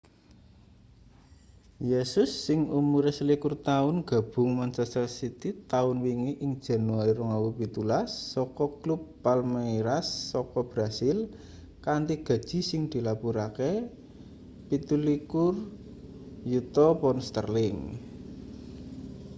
jesus sing umure 21 taun gabung manchester city taun wingi ing januari 2017 saka klub palmeiras saka brasil kanthi gaji sing dilapurake £27 yuta